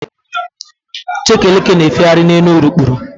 Chekeleke na-efegharị n'elu urukpuru.